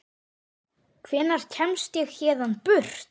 Hvenær kemst ég héðan burt?